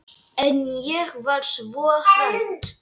En ég var svo hrædd.